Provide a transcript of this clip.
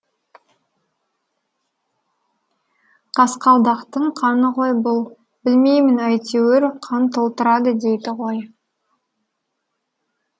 қасқалдақтың қаны ғой бұл білмеймін әйтеуір қан толтырады дейді ғой